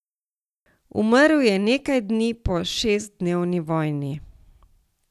Umrl je nekaj dni po šestdnevni vojni.